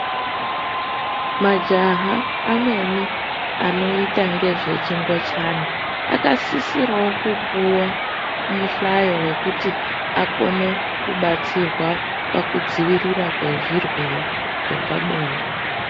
Majaha amweni anoite ngezvechingochani akasisirawo kupuwa muhlayo wekuti akone kubatsirwa pakudzivirirwa kwezvirwere zvepabonde.